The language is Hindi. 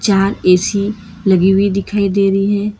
यहां ए_सी लगी हुइ दिखाई दे रही है।